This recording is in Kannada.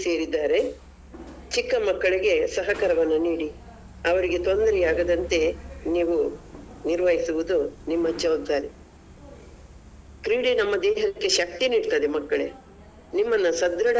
ಮಕ್ಕಳು ಇಲ್ಲಿ ಸೇರಿದ್ದಾರೆ ಚಿಕ್ಕ ಮಕ್ಕಳಿಗೆ ಸಹಕಾರವನ್ನ ನೀಡಿ ಅವರಿಗೆ ತೊಂದರೆ ಆಗದಂತೆ ನೀವು ನಿರ್ವಹಿಸುವುದು ನಿಮ್ಮ ಜವಾಬ್ದಾರಿ ಕ್ರೀಡೆ ನಮ್ಮ ದೇಹಕ್ಕೆ ಶಕ್ತಿ ನಿಡ್ತದೆ ಮಕ್ಕಳೇ ನಿಮ್ಮನ್ನ.